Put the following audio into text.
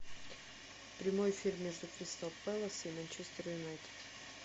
прямой эфир между кристал пэлас и манчестер юнайтед